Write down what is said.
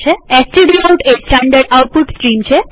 stdout એ standard output stream છે